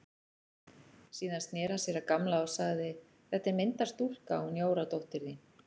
Síðan sneri hann sér að Gamla og sagði: Þetta er myndarstúlka, hún Jóra dóttir þín.